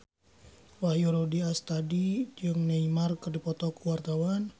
Wahyu Rudi Astadi jeung Neymar keur dipoto ku wartawan